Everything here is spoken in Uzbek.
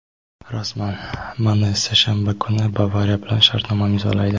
Rasman: Mane seshanba kuni "Bavariya" bilan shartnoma imzolaydi;.